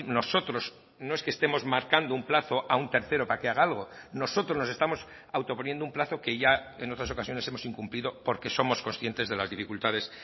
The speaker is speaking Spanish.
nosotros no es que estemos marcando un plazo a un tercero para que haga algo nosotros nos estamos autoponiendo un plazo que ya en otras ocasiones hemos incumplido porque somos conscientes de las dificultades